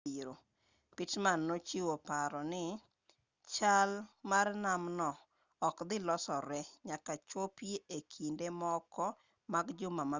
pittman nochiwo paro ni chal mar nam no ok dhi losore nyaka chopi e kinde moko mag juma mabiro